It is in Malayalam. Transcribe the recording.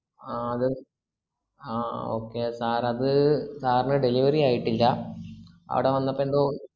ആഹ് ത് ആഹ് okay sir അത് sir ന് delivery ആയിട്ടില്ല അവടെ വന്നപ്പേന്തോ